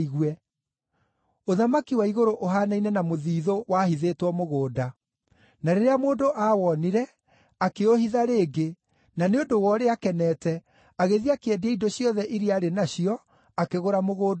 “Ũthamaki wa igũrũ ũhaanaine na mũthiithũ wahithĩtwo mũgũnda. Na rĩrĩa mũndũ aawoonire, akĩũhitha rĩngĩ, na nĩ ũndũ wa ũrĩa akenete, agĩthiĩ akĩendia indo ciothe iria arĩ nacio akĩgũra mũgũnda ũcio.